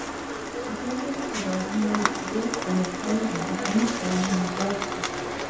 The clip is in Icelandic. Í fjarveru þeirra er hún vökvuð með tárum og andað á hana hlátri.